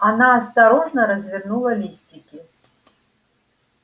она осторожно развернула листики